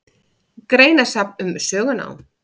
Greinasafn um sögunám.